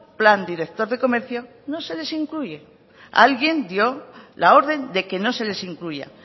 plan director de comercio no se les incluye alguien dio la orden de que no se les incluya